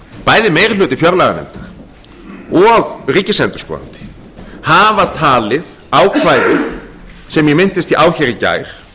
bæði meiri hluti fjárlaganefndar og ríkisendurskoðandi hafa talið ákvæðið sem ég minntist á hér í gær